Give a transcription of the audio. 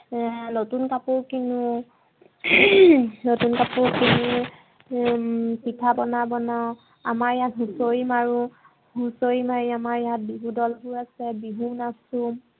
নতুন কাপোৰ কিনু নতুন কাপোৰ কিনি হম পিঠা পোনা আমাৰ ইয়াত হুছৰি মাৰো, হুছৰি মাৰি আমাৰ ইয়াত বিহুদলতো আছে বিহু নাছো